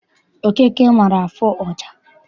Okeke maara afụ ọja.